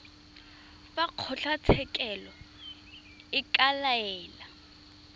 fa kgotlatshekelo e ka laela